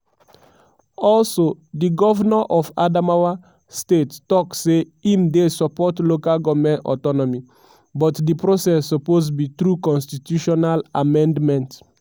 also di govnor of adamawa state tok say im dey support local goment autonomy but di process suppose be through constitutional amendment.